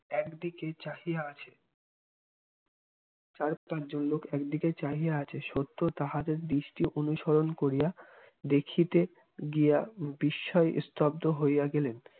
একদিকে চাহিয়া আছে চার পাঁচজন লোক একদিকে চাহিয়া আছে সত্য তাহাদের দৃষ্টি অনুসরণ করিয়া দেখিতে গিয়া বিস্ময়ে স্তব্ধ হইয়া গেলেন